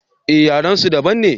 eh yaren su daban ne